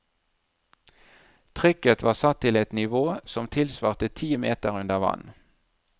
Trykket var satt til et nivå som tilsvarte ti meter under vann.